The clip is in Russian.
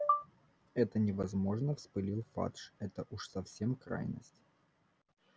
это невозможно вспылил фадж это уж совсем крайность